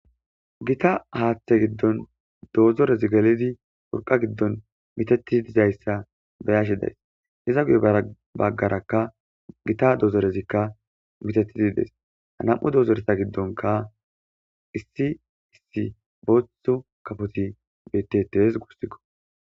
gita haaththe giddon doozorezi gelidi purqa giddon miteti dizayssa beyashi days hiza gude baggarakka gita doozorezikka mitetidiides hanam7u doozoresa giddonka issi issi boothu kafoti beteties gussikko